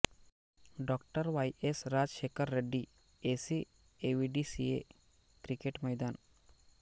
Dr Y S Rajasekhara Reddy ACA VDCA cricket Maidan